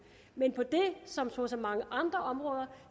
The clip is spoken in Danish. men på det som på så mange andre områder